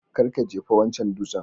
Kar ka jefa wancan dutsen